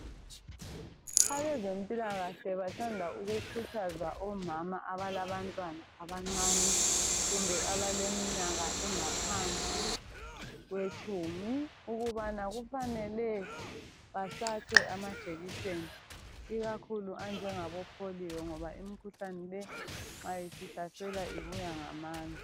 Abezempilakahle bathanda ukukhuthaza omama alabantwana abancane kumbe abaleminyaka engaphansi kwetshumi ukubana kufanelwe bahlatshwe amajekiseni ikakhulu anjengabo polio ngoba imkhuhlane le nxa isihlasela ibuya ngamandla.